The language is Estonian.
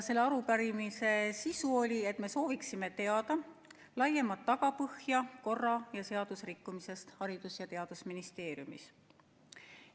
Selle arupärimise sisu oli see, et me sooviksime teada laiemat tagapõhja korra- ja seadusrikkumisest Haridus- ja Teadusministeeriumis.